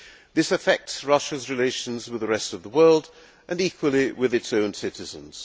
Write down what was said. This affects Russia's relations with the rest of the world and equally with its own citizens.